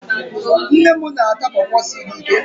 Nne m na-ata pọọpọ siri ike.